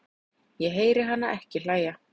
Ég heyri hana ekki hlæja